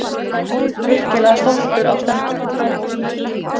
Virkilega stoltur af stelpunum